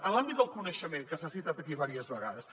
en l’àmbit del coneixement que s’ha citat aquí diverses vegades